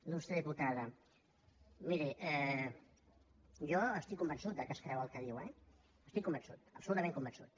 il·lustre diputada miri jo estic convençut que es creu el que diu eh n’estic convençut absolutament convençut